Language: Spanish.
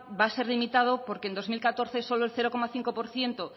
va a ser limitado porque en dos mil catorce solo el cero coma cinco por ciento